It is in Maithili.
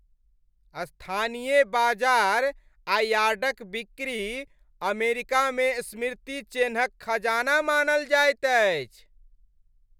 स्थानीय बाजार आ यार्डक बिक्री अमेरिकामे स्मृति चेन्हक खजाना मानल जाइत अछि।